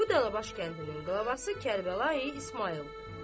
Bu da Dəlibaş kəndinin qlavvası Kərbəlayi İsmayıldır.